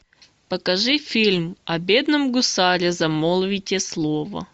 покажи фильм о бедном гусаре замолвите слово